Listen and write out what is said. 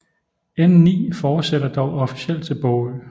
N9 fortsætter dog officielt til Bogø